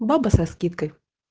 баба со скидкой